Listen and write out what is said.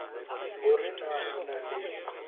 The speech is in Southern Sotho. hore na o na le